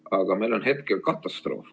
Aga meil on hetkel katastroof.